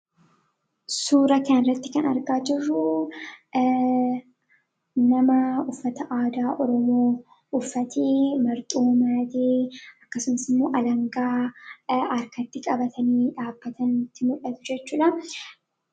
Suuraa kanarratti kan argaa jirru nama uffata aadaa Oromoo uffatee marxoo maratee, akkasumasimmoo alangaa harkatti qabatanii, dhaabbataniiti mul'atu jechuudha.